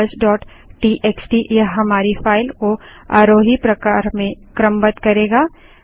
numbersटीएक्सटी यह हमारी फाइल को आरोही प्रकार में क्रमबद्ध करेगा